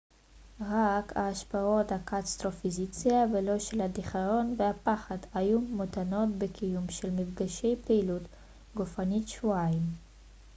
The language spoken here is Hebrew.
רק השפעות הקטסטרופיזציה ולא של הדיכאון והפחד היו מותנות בקיומם של מפגשי פעילות גופנית שבועיים